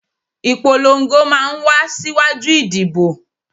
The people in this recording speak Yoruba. Ìpolongo máa ń wá síwájú ìdìbò